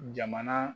Jamana